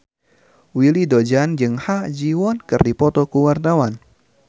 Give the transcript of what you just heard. Willy Dozan jeung Ha Ji Won keur dipoto ku wartawan